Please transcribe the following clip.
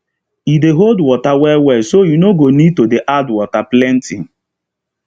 e dey hold water well well so you no go need to dey add water plenty